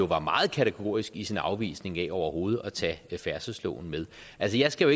var meget kategorisk i sin afvisning af overhovedet at tage færdselsloven med altså jeg skal